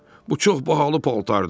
Bu çox bahalı paltardır.